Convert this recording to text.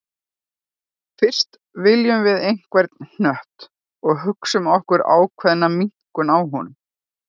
Fyrst veljum við einhvern hnött og hugsum okkur ákveðna minnkun á honum.